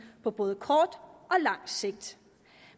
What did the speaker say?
på både kort og lang sigt